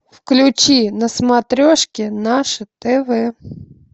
включи на смотрешке наше тв